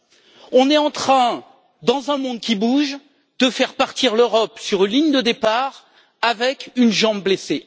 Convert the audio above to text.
nous sommes en train, dans un monde qui bouge, de faire partir l'Europe sur une ligne de départ avec une jambe blessée.